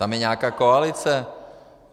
Tam je nějaká koalice.